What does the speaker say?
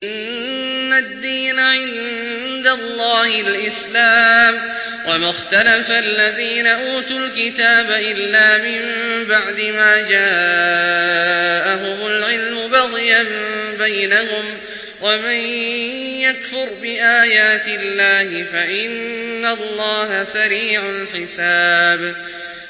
إِنَّ الدِّينَ عِندَ اللَّهِ الْإِسْلَامُ ۗ وَمَا اخْتَلَفَ الَّذِينَ أُوتُوا الْكِتَابَ إِلَّا مِن بَعْدِ مَا جَاءَهُمُ الْعِلْمُ بَغْيًا بَيْنَهُمْ ۗ وَمَن يَكْفُرْ بِآيَاتِ اللَّهِ فَإِنَّ اللَّهَ سَرِيعُ الْحِسَابِ